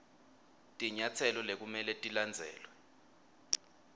tinyatselo lekumele tilandzelwe